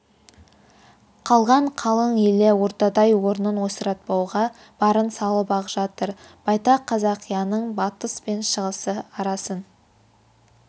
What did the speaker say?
қалған қалың елі ордадай орнын ойсыратпауға барын салып-ақ жатыр байтақ қазақияның батыс пен шығысы арасын